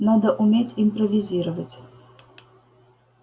надо уметь импровизировать